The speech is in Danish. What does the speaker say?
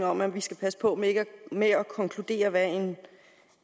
om at vi skal passe på med at konkludere hvad